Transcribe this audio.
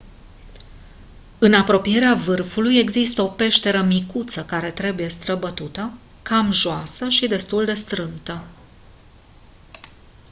în apropierea vârfului există o peșteră micuță care trebuie străbătută cam joasă și destul de strâmtă